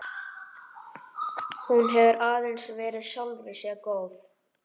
Hún hefur aðeins verið sjálfri sér góð.